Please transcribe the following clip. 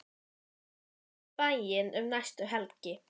Komdu svo í bæinn um næstu helgi.